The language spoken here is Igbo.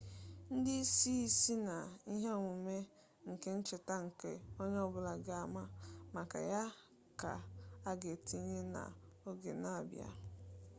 ndi isi si na ihe omume nke ncheta nke onye-obula ga ama maka ya ka aga etinye na oge na abia